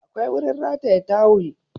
Akwai wurin rataya tawul